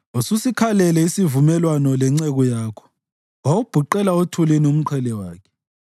Ususikhalele isivumelwano lenceku yakho wawubhuqela othulini umqhele wakhe.